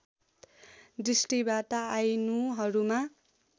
दृष्टिबाट आइनूहरुमा